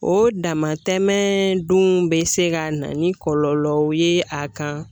O damatɛmɛ dun be se ka na ni kɔlɔlɔw ye a kan